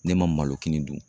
Ne malokini dun